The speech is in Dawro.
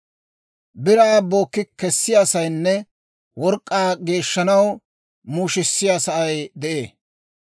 «Biraa bookki kessiyaasaynne work'k'aa geeshshanaw muushisiyaa sa'ay de'ee.